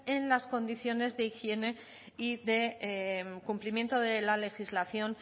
en las condiciones de higiene y de cumplimiento de la legislación